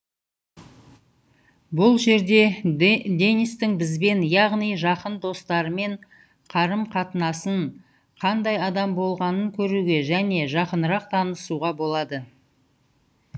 бұл жерде денистің бізбен яғни жақын достарымен қарым қатынасын қандай адам болғанын көруге және жақынырақ танысуға болады